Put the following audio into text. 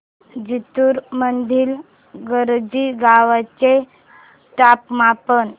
जिंतूर मधील करंजी गावाचे तापमान